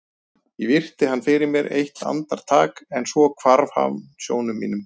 Ég virti hann fyrir mér eitt andar- tak en svo hvarf hann sjónum mínum.